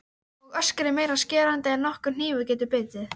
Og öskrið meira skerandi en nokkur hnífur getur bitið.